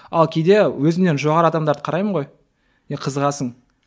ал кейде өзімнен жоғары адамдарды қараймын ғой и қызығасың